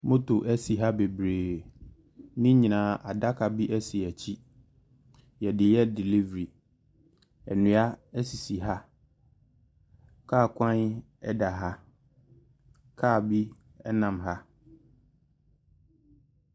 Motor si ha bebree. Ne nyinaa, adaka bi si akyire. Wɔde yɛ delivery. Nnua sisi ha. Kaa kwan da ha. Car bi nam ha.